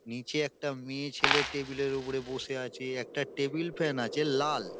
নিচে একটা মেয়েছেলে টেবিল -এর ওপরে বসে আছে একটা টেবিল ফ্যান আছে লাল।